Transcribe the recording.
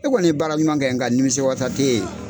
E kɔni ye baara ɲɔgɔn kɛ , n nka nimisiwasa tɛ yen.